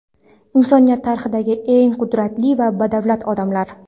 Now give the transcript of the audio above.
Insoniyat tarixidagi eng qudratli va badavlat odamlar .